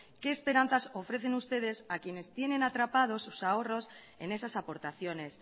qué esperanzas ofrecen ustedes a quienes tienen atrapados sus ahorros en esas aportaciones